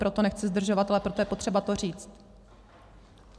Proto nechci zdržovat, ale proto je potřeba to říct.